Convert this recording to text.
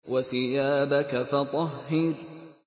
وَثِيَابَكَ فَطَهِّرْ